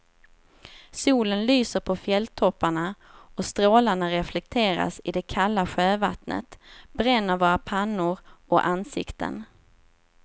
Solen lyser på fjälltopparna och strålarna reflekteras i det kalla sjövattnet, bränner våra pannor och ansikten.